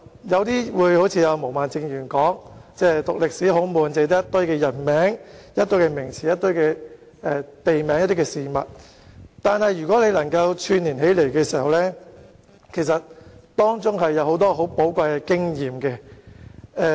有些人可能會一如毛孟靜議員，說中國歷史科很沉悶，只有一堆人名、名詞、地名及事件，但如果我們把這些元素串連起來，便會發覺當中有許多寶貴的經驗。